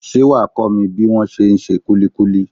Ṣé wàá kó mi bí wón se ń ṣe kulikuli?